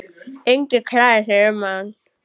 Enginn kærði sig um hann.